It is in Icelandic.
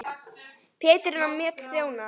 Petrína Mjöll þjónar.